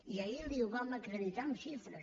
i ahir li ho vam acreditar amb xifres